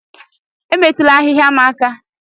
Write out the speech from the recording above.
Emetụla ahịhịa m aka